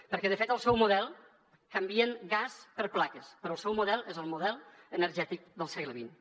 perquè de fet al seu model canvien gas per plaques però el seu model és el model energètic del segle xx